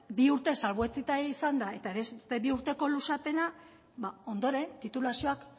bi urtez salbuetsita izanda eta beste bi urteko luzapena ba ondoren titulazioak